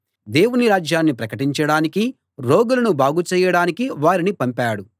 దేవుని రాజ్యాన్ని ప్రకటించడానికీ రోగులను బాగు చేయడానికీ వారిని పంపాడు